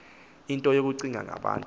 into yokucinga ngabantu